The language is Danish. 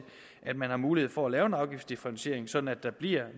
at man har mulighed for at lave en afgiftsdifferentiering sådan at der bliver